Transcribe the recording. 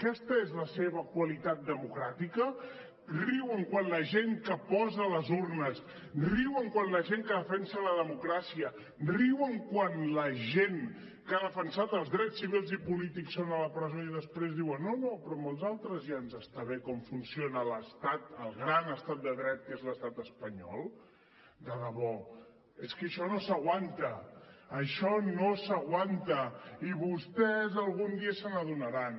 aquesta és la seva qualitat democràtica riuen quan la gent que posa les urnes riuen quan la gent que defensa la democràcia riuen quan la gent que ha defensat els drets civils i polítics són a la presó i després diuen no no però amb els altres ja ens està bé com funciona l’estat el gran estat de dret que és l’estat espanyol de debò és que això no s’aguanta això no s’aguanta i vostès algun dia se n’adonaran